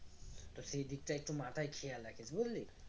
তো সেই দিকটা একটু মাথায় খেয়াল রাখিস বুঝলি